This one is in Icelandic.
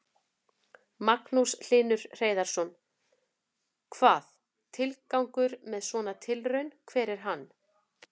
Magnús Hlynur Hreiðarsson: Hvað, tilgangur með svona tilraun, hver er hann?